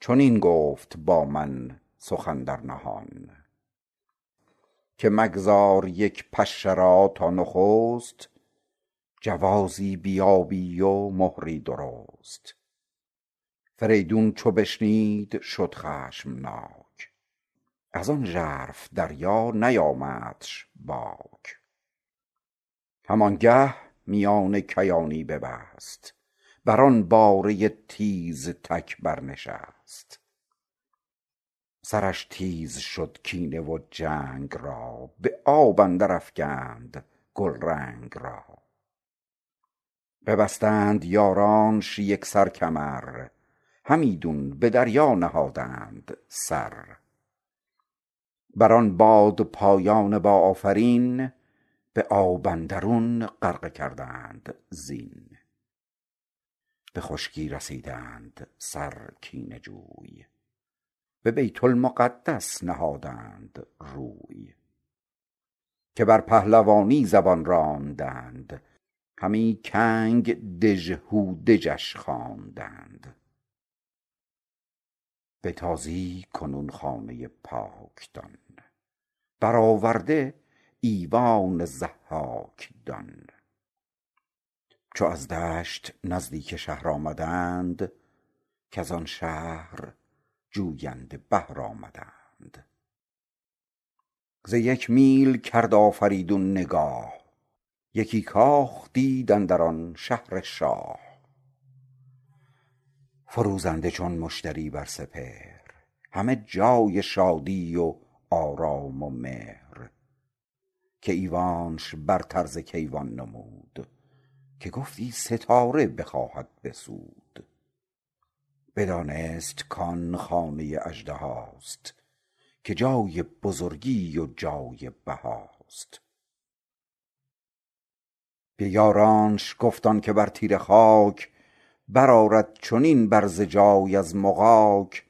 چنین گفت با من سخن در نهان که مگذار یک پشه را تا نخست جوازی بیابی و مهری درست فریدون چو بشنید شد خشمناک ازان ژرف دریا نیامدش باک هم آنگه میان کیانی ببست بران باره تیزتک بر نشست سرش تیز شد کینه و جنگ را به آب اندر افگند گلرنگ را ببستند یارانش یکسر کمر همیدون به دریا نهادند سر بر آن بادپایان با آفرین به آب اندرون غرقه کردند زین به خشکی رسیدند سر کینه جوی به بیت المقدس نهادند روی که بر پهلوانی زبان راندند همی کنگ دژهودجش خواندند به تازی کنون خانه پاک دان برآورده ایوان ضحاک دان چو از دشت نزدیک شهر آمدند کزان شهر جوینده بهر آمدند ز یک میل کرد آفریدون نگاه یکی کاخ دید اندر آن شهر شاه فروزنده چون مشتری بر سپهر همه جای شادی و آرام و مهر که ایوانش برتر ز کیوان نمود که گفتی ستاره بخواهد بسود بدانست کان خانه اژدهاست که جای بزرگی و جای بهاست به یارانش گفت آنکه بر تیره خاک برآرد چنین برز جای از مغاک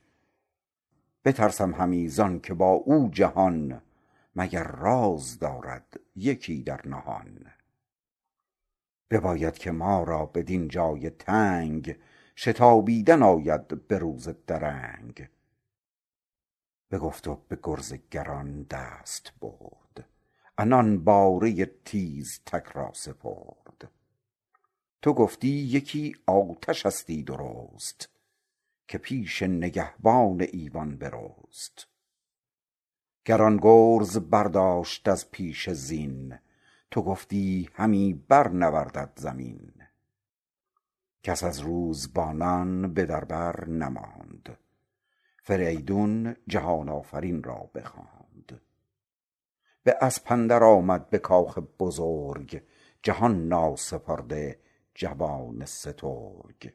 بترسم همی زانکه با او جهان مگر راز دارد یکی در نهان بباید که ما را بدین جای تنگ شتابیدن آید به روز درنگ بگفت و به گرز گران دست برد عنان باره تیزتک را سپرد تو گفتی یکی آتشستی درست که پیش نگهبان ایوان برست گران گرز برداشت از پیش زین تو گفتی همی بر نوردد زمین کس از روزبانان به در بر نماند فریدون جهان آفرین را بخواند به اسب اندر آمد به کاخ بزرگ جهان ناسپرده جوان سترگ